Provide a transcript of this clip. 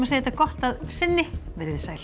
þetta gott að sinni veriði sæl